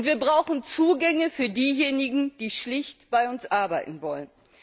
Wir brauchen Zugänge für diejenigen, die schlicht bei uns arbeiten wollen.